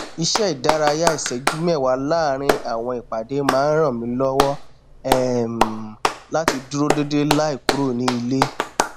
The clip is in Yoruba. iṣẹ ìdárayá ìṣẹjú mẹwàá láàrín àwọn ìpàdé má n ràn mí lọwọ um láti dúró déédéé láì kúrò ní ilé